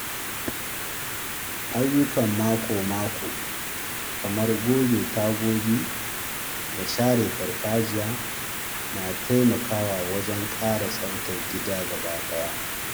Ayyukan mako-mako kamar goge tagogi da share farfajiya na taimakawa wajen ƙara tsaftar gida gabaɗaya.